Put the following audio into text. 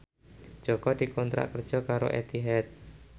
Jaka dikontrak kerja karo Etihad